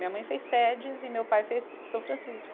Minha mãe fez Sedes e meu pai fez São Francisco.